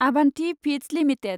Abhanthi feeds limited